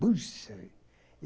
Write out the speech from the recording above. Puxa!